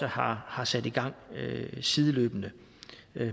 har har sat i gang sideløbende